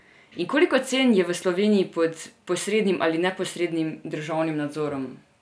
In koliko cen je v Sloveniji pod posrednim ali neposrednim državnim nadzorom?